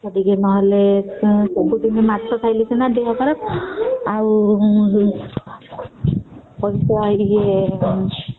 ମାଛ ଟିକେ ନହେଲେ ସବୁଦିନ ମାଛ ଖାଇଲେ ସିନା ଦେହ ଖରାପ ଆଉ